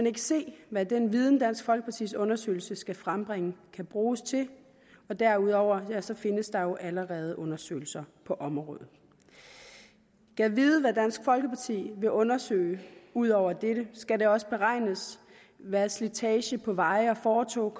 ikke se hvad den viden dansk folkepartis undersøgelse skal frembringe kan bruges til og derudover findes der jo allerede undersøgelser på området gad vide hvad dansk folkeparti vil undersøge ud over dette skal det også beregnes hvad slitage på veje og fortove